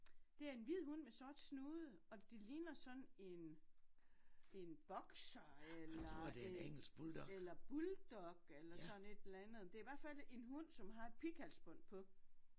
Det er en hvid hund med sort snude og det ligner sådan en en boxer eller en eller bulldog eller sådan et eller andet. Det i hvert fald en hund som har et pighalsbånd på